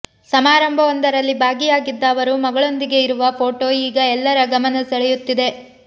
ಸಮಾರಂಭವೊಂದರಲ್ಲಿ ಭಾಗಿಯಾಗಿದ್ದ ಅವರು ಮಗಳೊಂದಿಗೆ ಇರುವ ಫೋಟೋ ಈಗ ಎಲ್ಲರ ಗಮನ ಸೆಳೆಯುತ್ತಿದೆ